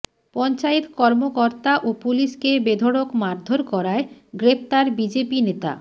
পঞ্চায়েত কর্মকর্তা ও পুলিশকে বেধড়ক মারধর করায় গ্রেফতার বিজেপি নেতা